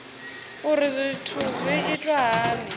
uri zwithu zwi itwa hani